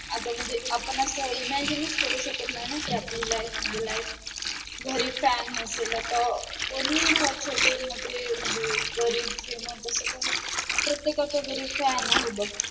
आता म्हणजे आपण असं imagine करू शकत नाही ना कि आपली life म्हणजे life घरी fan नसला त अं कोणीही राहू छोटे मोठे म्हणजे गरीब श्रीमंत तसपण प्रत्येकाच्या घरी fan आहे बग